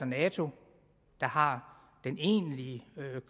nato der har den egentlige